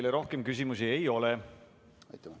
Teile rohkem küsimusi ei ole.